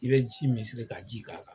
I bɛ ji k'a ji k'a kan.